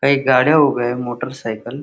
काही गाड्या उभ्या आहे मोटर सायकल --